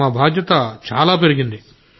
మా బాధ్యత చాలా పెరిగింది